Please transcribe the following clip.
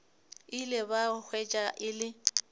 ile ba hwetša e le